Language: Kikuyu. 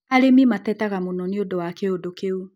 Arĩmi matetaga mũno nĩũndũ wa kĩũndũ kĩu